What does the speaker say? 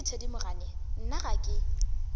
nnete thedimogane nna ga ke